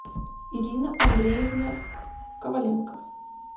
ирина андреевна коваленко